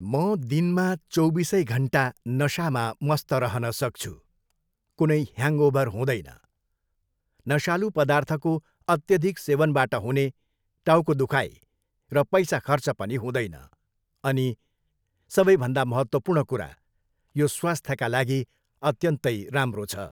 म दिनमा चौबिसै घन्टा नशामा मस्त रहन सक्छु, कुनै ह्याङ्ओभर हुँदैन। नशालु पदार्थको अत्यधिक सेवनबाट हुने टाउको दुखाइ र पैसा खर्च पनि हुँदैन अनि सबैभन्दा महत्त्वपूर्ण कुरा, यो स्वास्थ्यका लागि अत्यन्तै राम्रो छ!